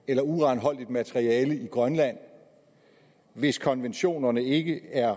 eller uranholdigt materiale i grønland hvis konventionerne ikke er